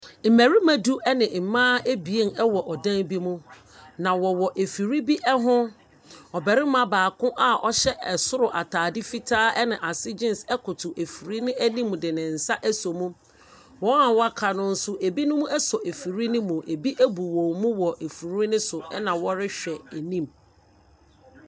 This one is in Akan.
Mmarima du ne mmaa abien wɔ dan bi mu. Na wɔwɔ afiri bi ho. Ɔbarima baako a ɔhyɛ ataare fitaa ne ase jeans koto afiri no anim de ne nsa aso mu. Wɔn a wɔaka no nso, binom aso afiri ne mu ɛbi abu wɔn mu wɔ afiri ne so na wɔrehwɛ anim.